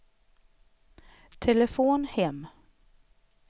telefon hem